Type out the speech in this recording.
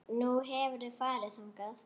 Nú, hefurðu farið þangað?